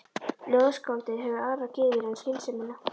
Ljóðskáldið hefur aðrar gyðjur en skynsemina.